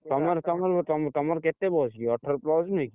ତମର ତମରକେତେ ବୟସ କି ଅଠର plus ନୁହେଁ କି?